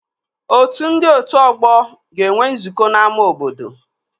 Otu ndị otu ọgbọ ga-enwe nzukọ n'ámá obodo